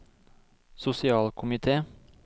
sosialkomite